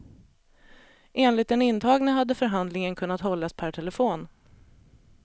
Enligt den intagne hade förhandlingen kunnat hållas per telefon.